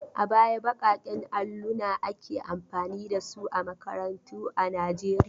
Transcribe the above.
A baya baƙaƙen alluna ake amfani da su a makarantu a Najeriya.